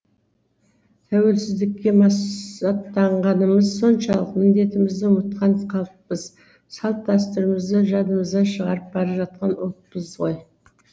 тәуелсіздікке масаттанғанымыз соншалық міндетімізді ұмытқан халықпыз салт дәстүрімізді жадымыздан шығарып бара жатқан ұлтпыз ғой